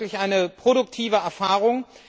Das war wirklich eine produktive Erfahrung.